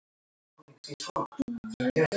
Nú skilja leiðir.